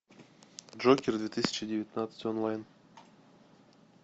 джокер две тысячи девятнадцать онлайн